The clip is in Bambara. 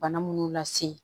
Bana munnu lase